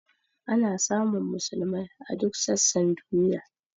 Ana samun musulmai a duk sassan duniya.